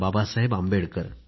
Babasaheb Ambedkar